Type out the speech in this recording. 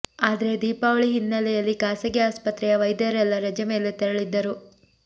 ಆದ್ರೆ ದೀಪಾವಳಿ ಹಿನ್ನೆಲೆಯಲ್ಲಿ ಖಾಸಗಿ ಆಸ್ಪತ್ರೆಯ ವೈದ್ಯರೆಲ್ಲ ರಜೆ ಮೇಲೆ ತೆರಳಿದ್ದರು